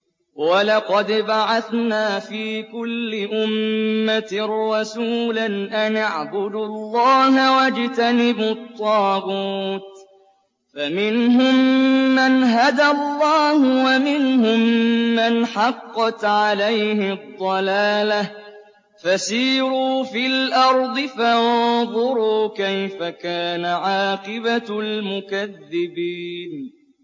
وَلَقَدْ بَعَثْنَا فِي كُلِّ أُمَّةٍ رَّسُولًا أَنِ اعْبُدُوا اللَّهَ وَاجْتَنِبُوا الطَّاغُوتَ ۖ فَمِنْهُم مَّنْ هَدَى اللَّهُ وَمِنْهُم مَّنْ حَقَّتْ عَلَيْهِ الضَّلَالَةُ ۚ فَسِيرُوا فِي الْأَرْضِ فَانظُرُوا كَيْفَ كَانَ عَاقِبَةُ الْمُكَذِّبِينَ